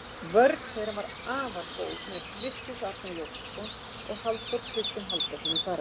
Vörn þeirra var afar góð með Vigfús Arnar Jósepsson og Halldór Kristinn Halldórsson í fararbroddi.